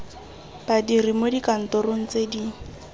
badiri mo dikantorong tse di